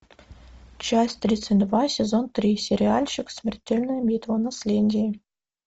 часть тридцать два сезон три сериальчик смертельная битва наследие